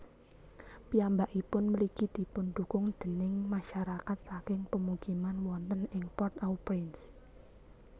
Piyambakipun mligi dipundhukung déning masyarakat saking pemukiman wonten ing Port au Prince